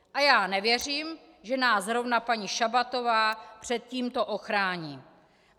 A já nevěřím, že nás zrovna paní Šabatová před tímto ochrání.